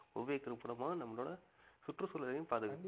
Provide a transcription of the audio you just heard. உபயோகிப்பதன் மூலமா நம்மளோட சுற்றுச்சூழலையும் பாதுகாக்கலாம்